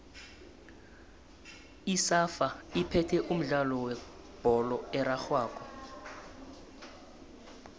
isafa iphethe umdlalo webholo erarhwako